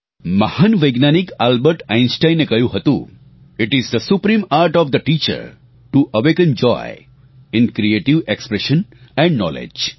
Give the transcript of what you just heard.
મહાન વૈજ્ઞાનિક આલ્બર્ટ આઇન્સ્ટાઇને કહ્યું હતું it is the supreme art of the teacher to awaken joy in creative expression and knowledge